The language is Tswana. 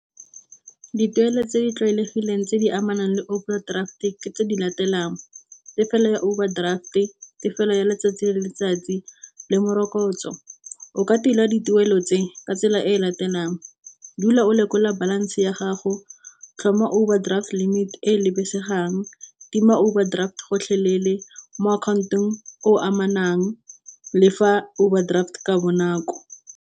Dituelo tse di tlwaelegileng tse di amanang le overdraft-e ke tse di latelang tefelo ya overdraft, e tefelo ya letsatsi le letsatsi le morokotso. O ka tila dituelo tse ka tsela e latelang dula o lekola balance ya gago, tlhoma overdraft limited e lebelesegang, tima overdraft gotlhelele mo account-ong o amanang lefa overdraft ka bonako.